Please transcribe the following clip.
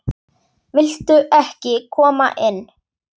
Viltu ekki koma inn?